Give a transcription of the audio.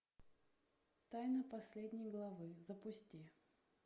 тайна последней главы запусти